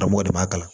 Karamɔgɔ de b'a kalan